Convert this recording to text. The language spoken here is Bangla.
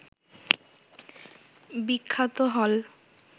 বিখ্যাত হল